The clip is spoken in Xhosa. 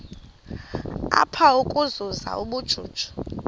apha ukuzuza ubujuju